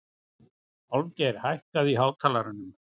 Álfgeir, hækkaðu í hátalaranum.